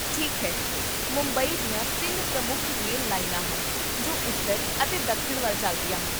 ਠੀਕ ਹੈ, ਮੁੰਬਈ ਦੀਆਂ ਤਿੰਨ ਪ੍ਰਮੁੱਖ ਰੇਲ ਲਾਈਨਾਂ ਹਨ ਜੋ ਉੱਤਰ ਅਤੇ ਦੱਖਣ ਵੱਲ ਚੱਲਦੀਆਂ ਹਨ